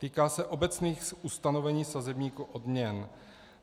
Týká se obecných ustanovení sazebníku odměn.